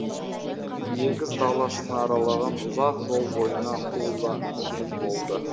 егіс даласын аралаған ұзақ жол бойына ойланумен болды